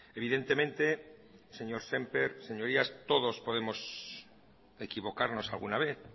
evidentemente señor semper señorías todos podemos equivocarnos alguna vez